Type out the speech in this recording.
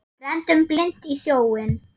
Renndum blint í sjóinn.